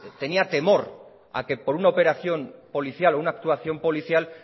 tenía temor a que por una operación policial o una actuación policial